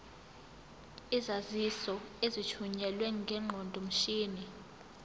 izaziso ezithunyelwe ngeqondomshini